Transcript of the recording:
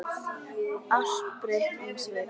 Allt breytti um svip.